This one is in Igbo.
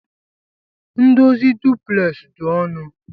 Ndozi duplex di onụ.